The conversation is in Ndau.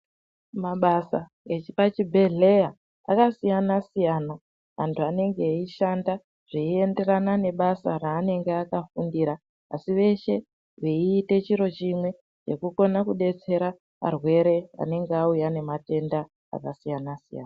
Mabasa epachibhedhleya akasiyana siyana antu anenge eyishanda zveyienderana nebasa raanenge akafundira asi veeshe veite chiro chimwe nekukona kubetsera varwere anenge auya nematenda akasiyana siyana.